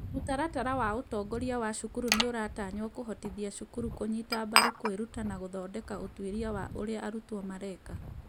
Mũtaratara wa ũtongoria wa cukuru nĩ ũratanywo kũhotithia cukuru kũnyita mbaru kwĩruta na gũthondeka ũtuĩria wa ũrĩa arutwo mareka.